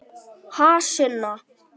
Ha, Sunna?